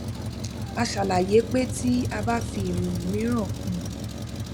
a ṣàlàyé pé tí a bá fi ìròyìn mìíràn kún un